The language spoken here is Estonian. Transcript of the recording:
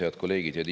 Head kolleegid!